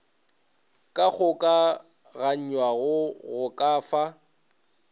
ka kgokaganywago go ka fa